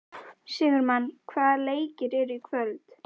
Sigurmann, hvaða leikir eru í kvöld?